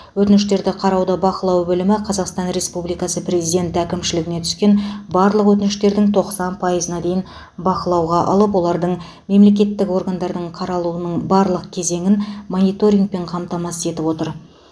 өтініштерді қарауды бақылау бөлімі қазақстан республикасы президенті әкімшілігіне түскен барлық өтініштердің тоқсан пайызына дейін бақылауға алып олардың мемлекеттік органдардың қаралуының барлық кезеңін мониторингпен қамтамасыз етіп отыр